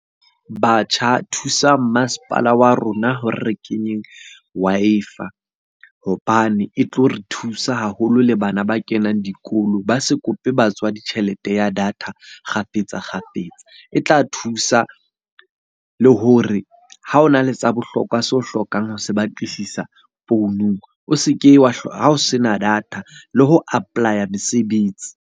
Batjha, thusang masepala wa rona hore re kenyeng Wi-Fi hobane e tlo re thusa haholo le bana ba kenang dikolo. Ba se kope batswadi tjhelete ya data fetsa kgafetsa-kgafetsa. E tla thusa le hore ha o na le tsa bohlokwa seo o hlokang ho se batlisisa founung, o se ke wa ha o se na data le ho apply-a mesebetsi.